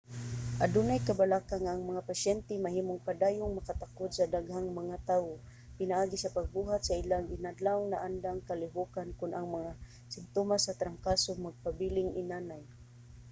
adunay kabalaka nga ang mga pasyente mahimong padayong makatakod sa daghang mga tawo pinaagi sa pagbuhat sa ilang inadlawng naandang kalihokan kon ang mga simtomas sa trangkaso magpabiling inanay